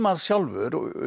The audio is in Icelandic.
sjálfur